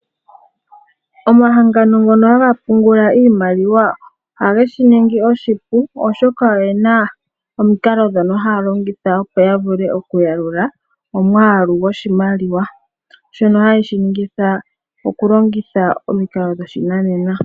Omahangano ngono haga pungula iimaliwa ohage shi ningi oshipu oshoka oyena omikalo ndhono haa longitha opo ya vule okuyalula omwaalu goshimaliwa shono haye shi ningitha okulongitha omikalo dhoshinanena.